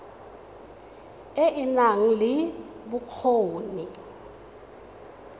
e e nang le bokgoni